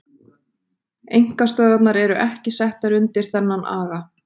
Einkastöðvarnar eru ekki settar undir þennan aga.